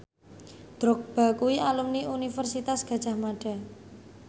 Drogba kuwi alumni Universitas Gadjah Mada